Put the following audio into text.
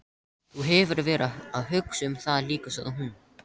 Þú hefur verið að hugsa um það líka, sagði hún.